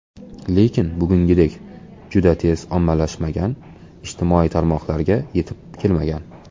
Lekin bugungidek juda tez ommalashmagan, ijtimoiy tarmoqlarga yetib kelmagan.